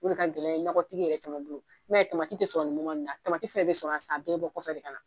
O de ka gɛlɛn nakɔtigi yɛrɛ caman bolo i m'a ye tamati te sɔn nin moman in na tamati fɛnfɛn bi sɔrɔ yan a bɛɛ bi bɔ kɔfɛ de ka na